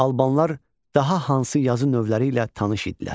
Albanlar daha hansı yazı növləri ilə tanış idilər?